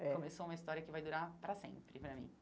É Começou uma história que vai durar para sempre para mim.